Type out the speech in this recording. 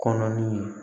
Kɔnɔ ni ye